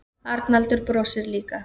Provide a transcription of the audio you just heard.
Arnaldur brosir líka.